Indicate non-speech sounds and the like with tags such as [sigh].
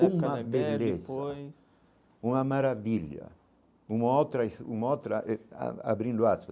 Uma beleza, uma maravilha, uma outra [unintelligible] uma outra a abrindo aspas.